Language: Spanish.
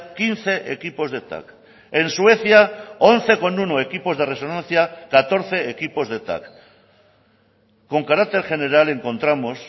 quince equipos de tac en suecia once coma uno equipos de resonancia catorce equipos de tac con carácter general encontramos